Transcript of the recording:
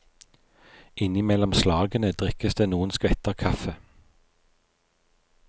Innimellom slagene drikkes det noen skvetter kaffe.